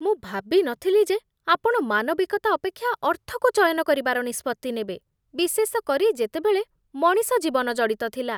ମୁଁ ଭାବି ନଥିଲି ଯେ ଆପଣ ମାନବିକତା ଅପେକ୍ଷା ଅର୍ଥକୁ ଚୟନ କରିବାର ନିଷ୍ପତ୍ତି ନେବେ, ବିଶେଷ କରି ଯେତେବେଳେ ମଣିଷ ଜୀବନ ଜଡ଼ିତ ଥିଲା।